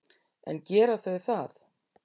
En gera þau það?